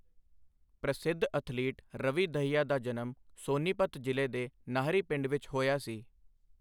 ਪ੍ਰਸਿੱਧ ਅਥਲੀਟ ਰਵੀ ਦਹੀਆ ਦਾ ਜਨਮ ਸੋਨੀਪਤ ਜ਼ਿਲ੍ਹੇ ਦੇ ਨਾਹਰੀ ਪਿੰਡ ਵਿੱਚ ਹੋਇਆ ਸੀ।